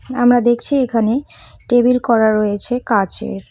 আমরা দেখছি এখানে টেবিল করা রয়েছে কাঁচের।